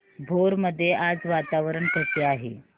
भोर मध्ये आज वातावरण कसे आहे